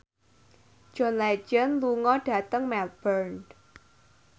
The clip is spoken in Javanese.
John Legend lunga dhateng Melbourne